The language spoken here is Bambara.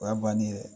O y'a bannen ye dɛ